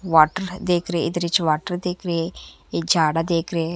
Water देख रहे हे इधर हीच वाटर ही देख रहे हे ये जाडा देख रहे हैं।